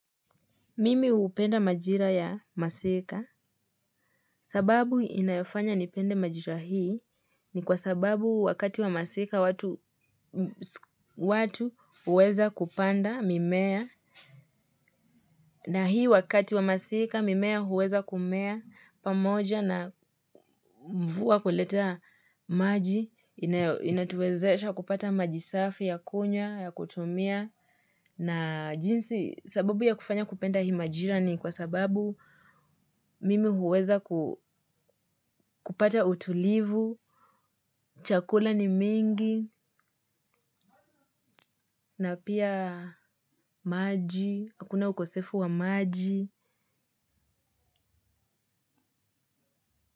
Mimi upenda majira ya masika sababu inayofanya nipende majira hii ni kwa sababu wakati wa masika watu uweza kupanda mimea na hii wakati wa masika mimea huweza kumea pamoja na mvua kuletaa maji inatuwezesha kupata majisafi ya kunywa ya kutumia na jinsi. Sababu ya kufanya kupenda hii majira ni kwa sababu mimi huweza kupata utulivu, chakula ni mingi, na pia maji, hakuna ukosefu wa maji.